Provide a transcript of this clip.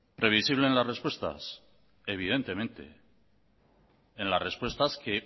previsible en las respuestas evidentemente en las respuestas que